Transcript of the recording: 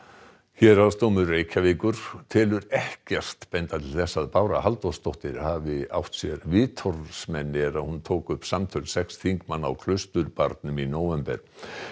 héraðsdómur Reykjavíkur telur ekkert benda til þess að Bára Halldórsdóttir hafi átt sér vitorðsmenn er hún tók upp samtöl sex þingmanna á Klausturbarnum í nóvember